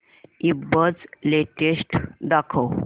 ईबझ लेटेस्ट दाखव